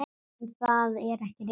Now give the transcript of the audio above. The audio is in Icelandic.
En það er ekki rétt.